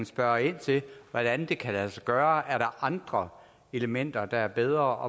spørge ind til hvordan det kan lade sig gøre og er andre elementer der er bedre